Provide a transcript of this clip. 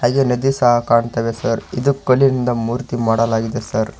ಹಾಗೆ ನದಿ ಸಹ ಕಾಣ್ತಾ ಇದೆ ಸರ್ ಇದು ಕಲ್ಲಿನಿಂದ ಮೂರ್ತಿ ಮಾಡಲಾಗಿದೆ ಸರ್ .